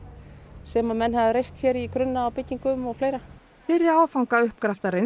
sem að menn hafa reist hér í grunna á byggingum og fleira fyrri áfanga uppgraftarins